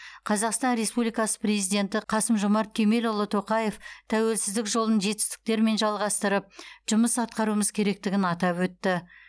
қазақстан республикасы президенті қасым жомарт кемелұлы тоқаев тәуелсіздік жолын жетістіктермен жалғастырып жұмыс атқаруымыз керектігін атап өтті